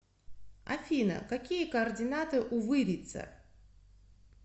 афина какие координаты у вырица